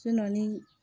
ni